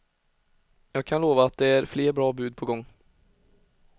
Jag kan lova att det är än fler bra bud på gång.